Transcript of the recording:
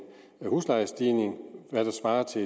huslejestigning der svarer til